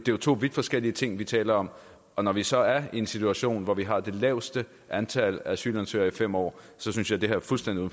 jo to vidt forskellige ting vi taler om og når vi så er i en situation hvor vi har det laveste antal asylansøgere i fem år synes jeg det her er fuldstændig